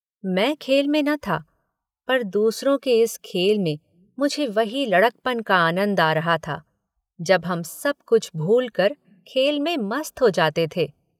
मैं खेल में न था पर दूसरों के इस खेल में मुझे वही लड़कपन का आनन्द आ रहा था जब हम सब कुछ भूलकर खेल में मस्त हो जाते थे।